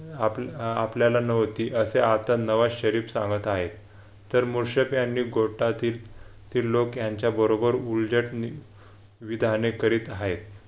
आपल्या अह आपल्याला नव्हती असे आता नवा शरीफ सांगत आहे यांनी पोटातील कॅडलॉक यांच्याबरोबर उलझटने विधाने करीत आहेत